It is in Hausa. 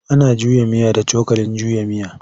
Ana juya miya da cokalin juya miya.